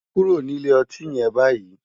Kúró ni ilé òtín yèn bàyí